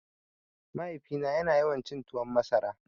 Mahaifina ya na yawan cin tuwon masara